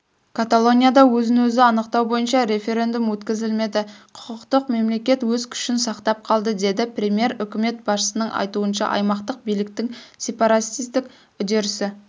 каталонияда өзін-өзі анықтау бойынша референдум өткізілмеді құқықтық мемлекет өз күшін сақтап қалды деді премьер үкімет басшысының айтуынша аймақтық биліктің сепаратистік үдерісі